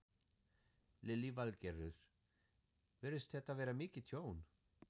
Lillý Valgerður: Virðist þetta vera mikið tjón?